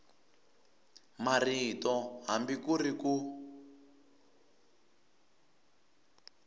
marito hambi ku ri ku